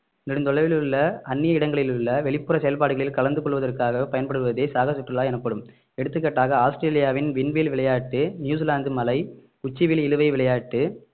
நெடுந்தொலைவில் உள்ள அன்னிய இடங்களில் உள்ள வெளிப்புற செயல்பாடுகளில் கலந்து கொள்வதற்காக பயன்படுவதே சாகச சுற்றுலா எனப்படும் எடுத்துக்காட்டாக ஆஸ்திரேலியாவின் விண்வெளி விளையாட்டு நியூசிலாந்து மலை உச்சிவெளி இழுவை விளையாட்டு